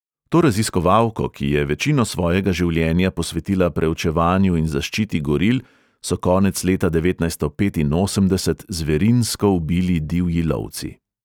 To raziskovalko, ki je večino svojega življenja posvetila preučevanju in zaščiti goril, so konec leta devetnajststo petinosemdeset zverinsko ubili divji lovci.